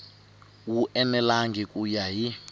wu enelangi ku ya hi